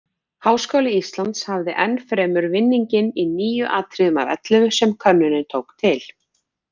Háskóli Íslands hafði enn fremur vinninginn í níu atriðum af ellefu sem könnunin tók til.